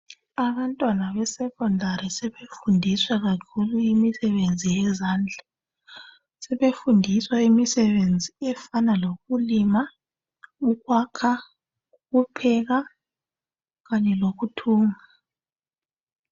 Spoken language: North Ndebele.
Abantwana besekhondari sebefundiswa kakhulu imisebenzi yezandla. Sebefundiswa imisebenzi efana lokulima, ukwakha, ukupheka kanye lokuthunga.